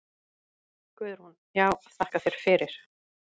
Guðrún: Já þakka þér fyrir.